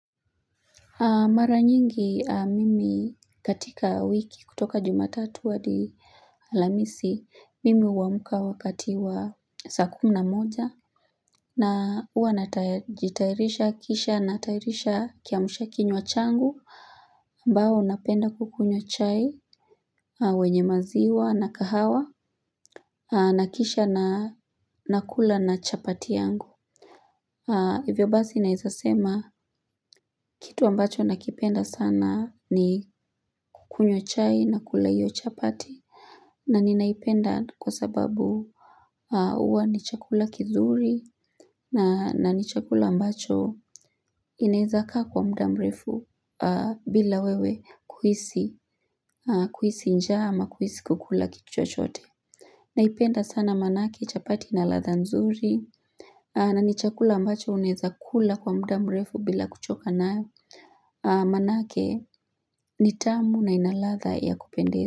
Mara nyingi mimi katika wiki kutoka juma tatu hadi lamisi mimi huamka wakati wa saa kumi moja na huwa natajitairisha kisha natayarisha kiamsha kinywa changu ambao napenda kukunywa chai wenye maziwa na kahawa na kisha na nakula na chapati yangu. Hivyo basi naweza sema kitu ambacho nakipenda sana ni kunywa chai na kula hiyo chapati na ninaipenda kwa sababu huwa ni chakula kizuri na ni chakula ambacho inaizakaa kwa muda mrefu bila wewe kuhisi njaa ama kuhisi kukula kitu chochote Naipenda sana nanasi chapati na ladha nzuri na ni chakula ambacho unaweza kula kwa muda mrefu bila kuchoka nayo Maanake nitamu na ina ladha ya kupendizi.